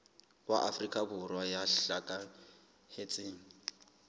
wa afrika borwa ya hlokahetseng